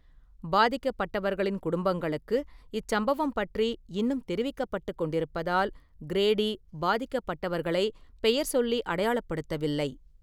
பாதிக்கப்பட்டவர்களின் குடும்பங்களுக்கு இச்சம்பவம் பற்றி இன்னும் தெரிவிக்கப்பட்டுக் கொண்டிருப்பதால், கிரேடி பாதிக்கப்பட்டவர்களைப் பெயர்சொல்லி அடையாளப்படுத்தவில்லை.